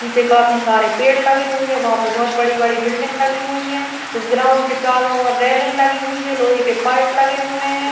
पीछे काफी सारे पेड़ लगे हुए हैं वहाँ पे बहोत बड़ी - बड़ी बिल्डिंग लगी हुई हैं इस ग्राउंड के चारों ओर रेलिंग लगी हुई है लोहे के पाइप लगे हुए हैं।